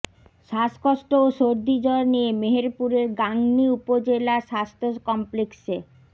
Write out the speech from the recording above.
শ্বাসকষ্ট ও সর্দিজ্বর নিয়ে মেহেরপুরের গাংনী উপজেলা স্বাস্থ্য কমপ্লেক্সে